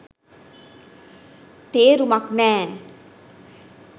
තේරුමක් නෑ.